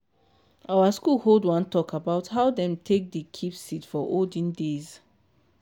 our school hold one talk about how dem take dey keep seed for olden days.